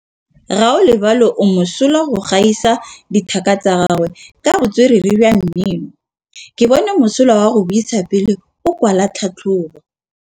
Gaolebalwe o mosola go gaisa dithaka tsa gagwe ka botswerere jwa mmino. Ke bone mosola wa go buisa pele o kwala tlhatlhobô.